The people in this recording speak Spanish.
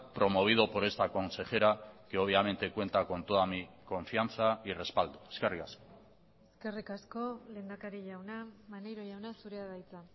promovido por esta consejera que obviamente cuenta con toda mi confianza y respaldo eskerrik asko eskerrik asko lehendakari jauna maneiro jauna zurea da hitza